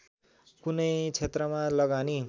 कुनै क्षेत्रमा लगानी